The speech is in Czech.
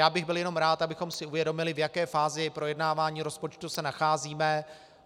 Já bych byl jenom rád, abychom si uvědomili, v jaké fázi projednávání rozpočtu se nacházíme.